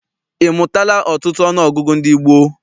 Ị mụtala ọtụtụ ọnụọgụgụ ndị gboo?